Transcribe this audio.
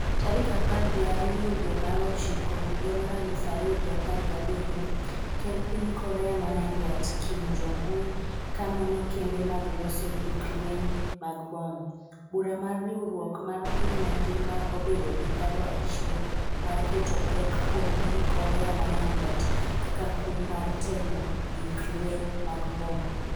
tarik apar gi ariyo dwe mar ochiko higa mar aluf ariyo gi apar gi abiriyo. ker mar piny Korea ma nyandwat Kim Jong-un ka nono kembe mag loso gik lweny mag bom. Bura mar Riwruok m mar Piny Mangima obedo gi paro achiel mar keto pek kuom piny Korea ma nyandwat kaka kum mar temo gik lweny mag bom